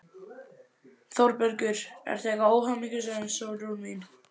ÞÓRBERGUR: Ertu eitthvað óhamingjusöm, Sólrún mín?